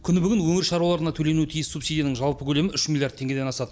күні бүгін өңір шаруаларына төленуі тиіс субсидияның жалпы көлемі үш миллиард теңгеден асады